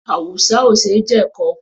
Awùsá ò ṣe jẹ̀kọ.